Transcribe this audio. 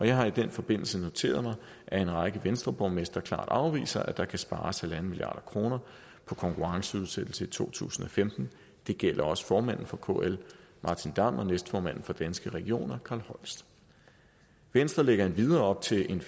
jeg har i den forbindelse noteret mig at en række venstreborgmestre klart afviser at der kan spares en en halv milliard kroner på konkurrenceudsættelse i to tusind og femten det gælder også formanden for kl martin damm og næstformanden for danske regioner carl holst venstre lægger endvidere op til en